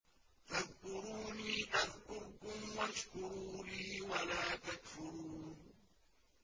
فَاذْكُرُونِي أَذْكُرْكُمْ وَاشْكُرُوا لِي وَلَا تَكْفُرُونِ